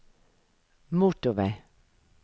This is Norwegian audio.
motorvei